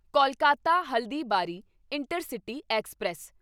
Kolkata Haldibari intercity express